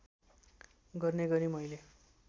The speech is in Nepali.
गर्ने गरी मैले